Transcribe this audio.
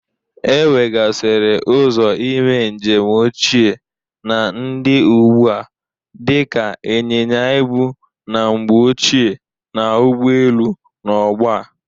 E wegasịrị ụzọ ime njem ochie na ndị ugbu a dịka ịnyịnya ịbụ na mgbe ochie na ụgbọelu n'ọgbọ a.